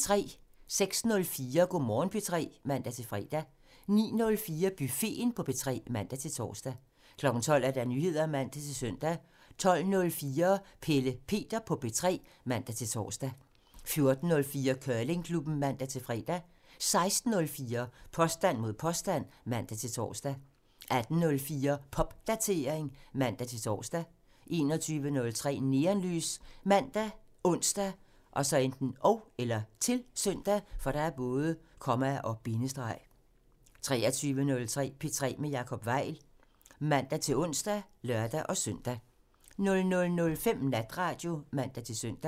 06:04: Go' Morgen P3 (man-fre) 09:04: Buffeten på P3 (man-tor) 12:00: Nyheder (man-søn) 12:04: Pelle Peter på P3 (man-tor) 14:04: Curlingklubben (man-fre) 16:04: Påstand mod påstand (man-tor) 18:04: Popdatering (man-tor) 21:03: Neonlys ( man, ons, -søn) 23:03: P3 med Jacob Weil (man-ons og lør-søn) 00:05: Natradio (man-søn)